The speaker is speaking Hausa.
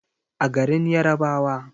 a garin yarabawa